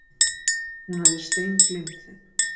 Hún hafði steingleymt þeim.